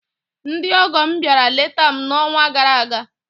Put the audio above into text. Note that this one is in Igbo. Ndị ọgọ m bịara leta m n'ọnwa gara aga.